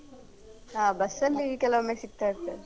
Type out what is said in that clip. ಹ ಬಸ್ ಅಲ್ಲಿ ಕೆಲೋವೊಮ್ಮೆ ಸಿಗ್ತಾ ಇರ್ತಾರೆ.